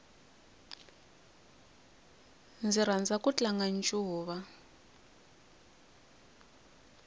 ndzi rhandza ku tlanga ncuva